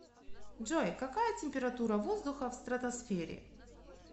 джой какая температура воздуха в стратосфере